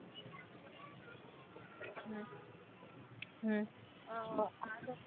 हम्म हम्म अह